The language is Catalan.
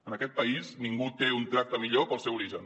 en aquest país ningú té un tracte millor pel seu origen